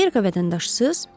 Amerika vətəndaşısız?